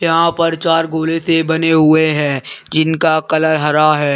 यहां पर चार गोले से बने हुए हैं जिनका कलर हरा है।